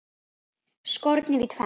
Skornir í tvennt.